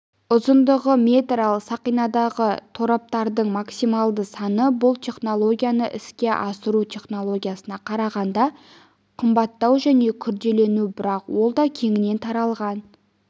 ұзындығы метр ал сақинадағы тораптардың максималды саны бұл технологияны іске асыру технологиясына қарағанда қымбаттау және күрделілеу бірақ ол да кеңінен таралған